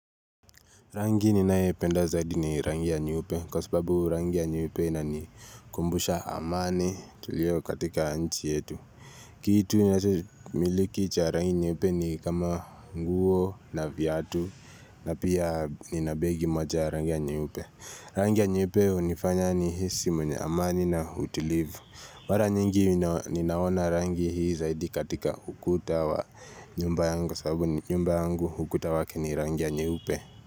Rangi ninaependa zaidi ni rangi ya nyeupe kwa sababu rangi ya nyeupe inanikumbusha amani tulio katika nchi yetu. Kitu ninacho miliki cha rangi ya nyeupe ni kama nguo na viatu na pia nina begi moja ya rangi ya nyeupe. Rangi ya nyeupe hunifanya nihisi mwenye amani na utulivu. Mara nyingi ninaona rangi hii zaidi katika ukuta wa nyumba yangu sababu nyumba yangu ukuta wake ni rangi ya nyeupe.